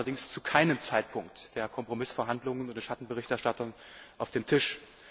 hätte. Sie lagen allerdings zu keinem Zeitpunkt der Kompromissverhandlungen mit den Schattenberichterstattern auf dem